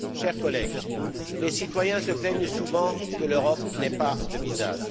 Chers collègues, les citoyens se plaignent souvent que l'Europe n'ait pas de visage.